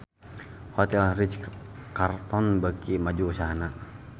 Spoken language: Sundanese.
Hotel Ritz-Carlton beuki maju usahana